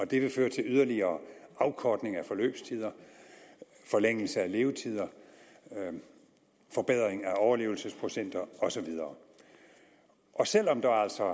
det vil føre til yderligere afkortning af forløbstider forlængelse af levetider forbedringer af overlevelsesprocenter og så videre selv om der altså